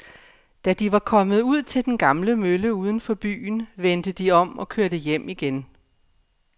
Da de var kommet ud til den gamle mølle uden for byen, vendte de om og kørte hjem igen.